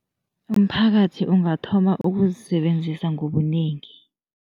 Umphakathi ungathoma ukuzisebenzisa ngobunengi.